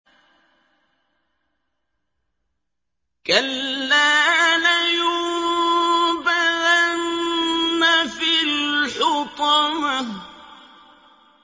كَلَّا ۖ لَيُنبَذَنَّ فِي الْحُطَمَةِ